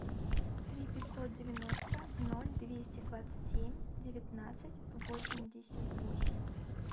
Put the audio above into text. три пятьсот девяносто ноль двести двадцать семь девятнадцать восемьдесят восемь